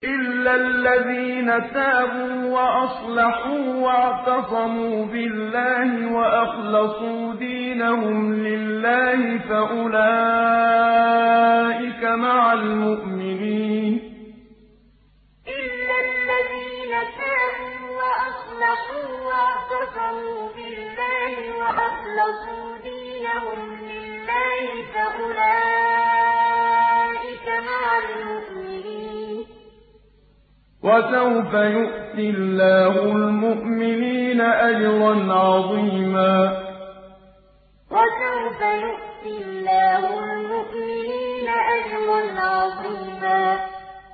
إِلَّا الَّذِينَ تَابُوا وَأَصْلَحُوا وَاعْتَصَمُوا بِاللَّهِ وَأَخْلَصُوا دِينَهُمْ لِلَّهِ فَأُولَٰئِكَ مَعَ الْمُؤْمِنِينَ ۖ وَسَوْفَ يُؤْتِ اللَّهُ الْمُؤْمِنِينَ أَجْرًا عَظِيمًا إِلَّا الَّذِينَ تَابُوا وَأَصْلَحُوا وَاعْتَصَمُوا بِاللَّهِ وَأَخْلَصُوا دِينَهُمْ لِلَّهِ فَأُولَٰئِكَ مَعَ الْمُؤْمِنِينَ ۖ وَسَوْفَ يُؤْتِ اللَّهُ الْمُؤْمِنِينَ أَجْرًا عَظِيمًا